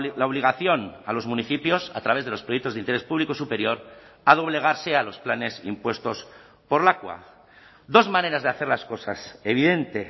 la obligación a los municipios a través de los proyectos de interés público superior a doblegarse a los planes impuestos por lakua dos maneras de hacer las cosas evidente